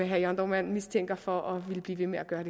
herre jørn dohrmann mistænker for at ville blive ved med at gøre